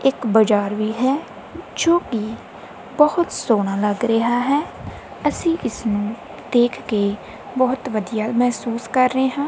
ਇੱਕ ਬਾਜ਼ਾਰ ਵੀ ਹੈ ਜੋ ਕਿ ਬਹੁਤ ਸੋਹਣਾ ਲੱਗ ਰਿਹਾ ਹੈ ਅਸੀਂ ਇਸਨੂੰ ਦੇਖ ਕੇ ਬਹੁਤ ਵਧੀਆ ਮਹਿਸੂਸ ਕਰ ਰਹੇ ਹਾਂ।